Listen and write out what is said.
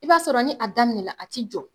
I b'a sɔrɔ ni a daminɛna a ti jɔ.